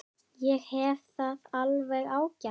Ég hef það alveg ágætt.